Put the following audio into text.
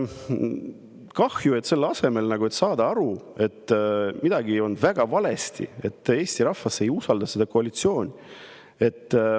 Kahju, et ei saada aru, et midagi on väga valesti, et Eesti rahvas ei usalda seda koalitsiooni.